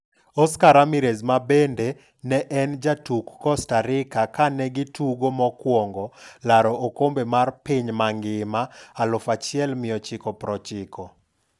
Oscar Ramirez mane bende ne en jatuk Costa Rica kane gi tugo mokwongo laro okombe mar piny mangima 1990.